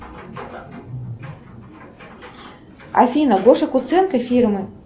афина гоша куценко фильмы